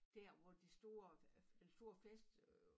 Dér hvor det store øh den store fest øh